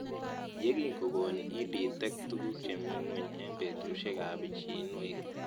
Ye kikon EdTech tuguk che mii ng'weny eng' petushek ab pichinwek